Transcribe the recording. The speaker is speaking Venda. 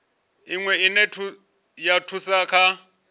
iwe ine ya thusa kha